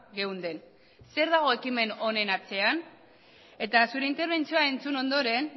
geunden zer dago ekimen honen atzean eta zure interbentzioa entzun ondoren